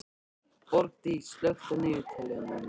Borgdís, slökktu á niðurteljaranum.